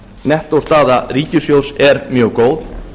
nettóstaða ríkissjóðs er mjög góð